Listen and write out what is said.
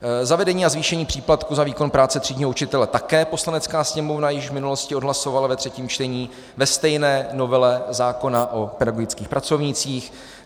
Zavedení a zvýšení příplatku za výkon práce třídního učitele také Poslanecká sněmovna již v minulosti odhlasovala ve třetím čtení ve stejné novele zákona o pedagogických pracovnících.